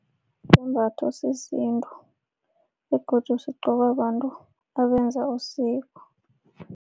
Sisembatho sesintu begodu sigqokwa babantu abenza usiko.